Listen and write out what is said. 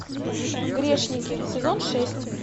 грешники сезон шесть